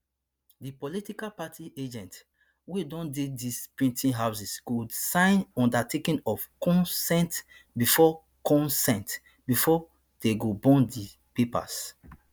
di political party agents wia don dey dis printing houses go sign undertaking of consent bifor consent bifor dey go burn di papers